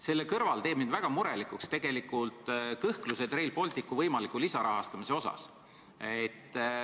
Selle kõrval teevad mind väga murelikuks kõhklused Rail Balticu võimaliku lisarahastamise üle.